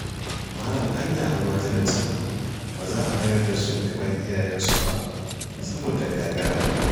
Malam anya almajiran can ba za a mayar da su gaban iyayensu ba, saboda gagara?